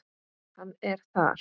Hann er þar.